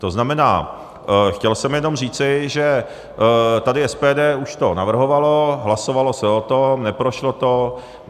To znamená, chtěl jsem jenom říci, že tady SPD už to navrhovalo, hlasovalo se o tom, neprošlo to.